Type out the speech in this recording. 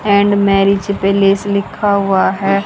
And marriage palace लिखा हुआ है।